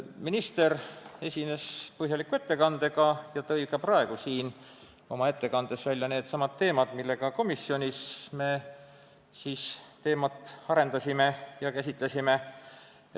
Minister esines põhjaliku ettekandega ja tõi ka praegu siin oma ettekandes välja needsamad teemad, mida me komisjonis teemat arendades käsitlesime.